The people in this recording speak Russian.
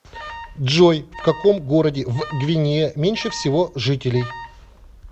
джой в каком городе в гвинея меньше всего жителей